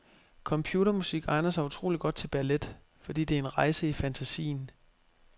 Computermusik egner sig utroligt godt til ballet, fordi det er en rejse i fantasien.